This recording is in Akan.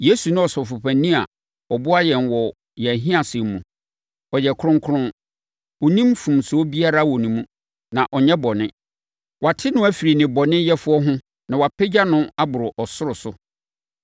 Yesu ne Ɔsɔfopanin a ɔboa yɛn wɔ yɛn ahiasɛm mu. Ɔyɛ kronkron. Ɔnni mfomsoɔ biara wɔ ne mu, na ɔnyɛ bɔne. Wɔate no afiri nnebɔneyɛfoɔ ho na wɔapagya no aboro ɔsoro so.